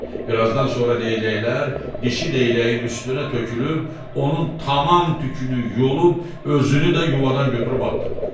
Birazdan sonra Leyləklər dişi Leyləyin üstünə tökülüb, onun tamam tükünü yolub özünü də yuvadan götürüb atdılar.